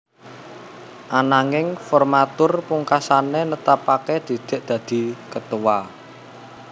Ananging formatur pungkasane netepake Didik dadi ketua